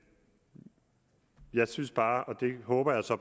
jeg synes bare og det håber jeg så